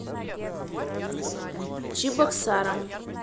чебоксарам